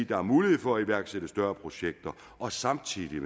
der er mulighed for at iværksætte større projekter og samtidig